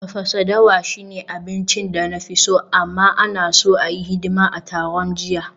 Tafasa dawa shine abincin da na fi so, amma, ana so a yi hidima a taron jiya